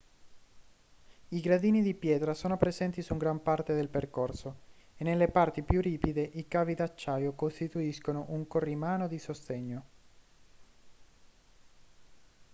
i gradini di pietra sono presenti su gran parte del percorso e nelle parti più ripide i cavi d'acciaio costituiscono un corrimano di sostegno